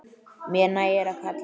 Mér nægir að kalla.